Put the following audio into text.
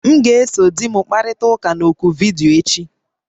M ga-eso di m kparịta ụka na oku vidiyo echi